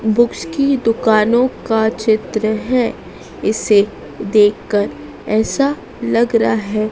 Books की दुकानों का चित्र है इसे देखकर ऐसा लग रहा है।